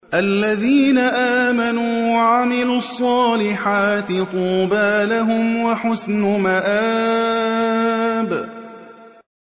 الَّذِينَ آمَنُوا وَعَمِلُوا الصَّالِحَاتِ طُوبَىٰ لَهُمْ وَحُسْنُ مَآبٍ